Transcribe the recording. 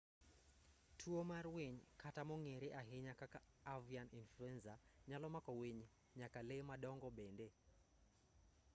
tuo mar winy kata mong'ere ahinya kaka avian influenza nyalo mako winy nyaka lee madongo bende